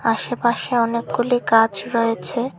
আশেপাশে অনেকগুলি গাছ রয়েছে।